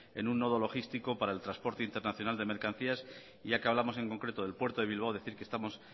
en un nodo logístico para el transporte internacional de mercancías ya que hablamos en concreto del puerto de bilbao decir que estamos